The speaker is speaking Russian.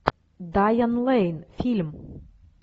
дайан лейн фильм